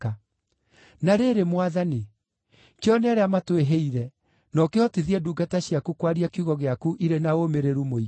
Na rĩrĩ, Mwathani, kĩone ũrĩa matwĩhĩire, na ũkĩhotithie ndungata ciaku kwaria kiugo gĩaku irĩ na ũũmĩrĩru mũingĩ.